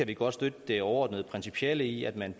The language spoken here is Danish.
kan godt støtte det overordnet principielle i at man